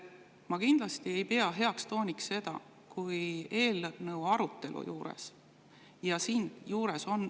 Ma kindlasti ei pea seda heaks tooniks, kui eelnõu arutelu juures …